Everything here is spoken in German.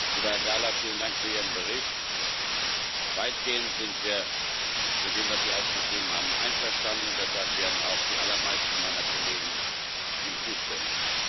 Lieber Herr Gahler, vielen Dank für Ihren Bericht. Weitgehend sind wir mit dem, was Sie aufgeschrieben haben, einverstanden, und deshalb werden auch die allermeisten meiner Kollegen ihm zustimmen.